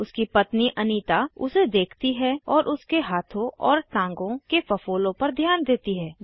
उसकी पत्नी अनीता उसे देखती है और उसके हाथों और टाँगों के फफोलों पर ध्यान देती है